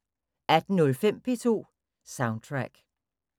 18:05: P2 Soundtrack